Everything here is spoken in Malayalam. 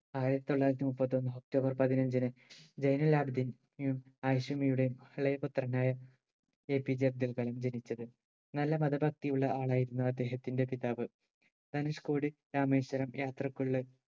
ആയിരത്തി തൊള്ളായിരത്തി മുപ്പത്തൊന്ന് ഒക്ടോബർ പതിനഞ്ചിന്‌ ജൈനുലാബിദ്ദിൻ യും ആയിശുമ്മയുടെയും ഇളയപുത്രനായ APJ അബ്ദുൾകലാം ജനിച്ചത് നല്ല മത ഭക്തിയുള്ള ആളായിരുന്നു അദ്ദേഹത്തിന്റെ പിതാവ് ധനുഷ്‌കോടി രാമേശ്വരം യാത്രക്കുള്ളിൽ